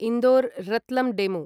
Indore Ratlam DEMU